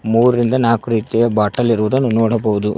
ಮೂರ್ ರಿಂದ ನಾಲ್ಕು ರೀತಿಯ ಬಾಟಲ್ ಇರುವುದನ್ನು ನೋಡಬಹುದು.